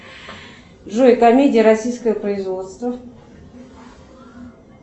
джой комедия российского производства